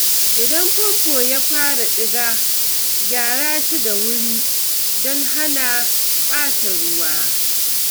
Idan famfo ya fara diga, gyara shi da wuri don hana ɓata ruwa.